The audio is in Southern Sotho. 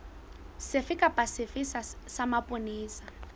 sefe kapa sefe sa mapolesa